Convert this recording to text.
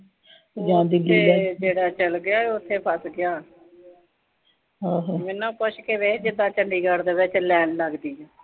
ਉਥੇ ਜਿਹੜਾ ਚਲ ਗਿਆ, ਉਥੇ ਫਸ ਗਿਆ। ਮੈਨੂੰ ਪੁੱਛ ਕੇ ਵੇਖ ਕਿੱਦਾਂ ਚੰਡਗੜ੍ਹ ਦੇ ਵਿੱਚ ਲਾਈਨ ਲਗਦੀ।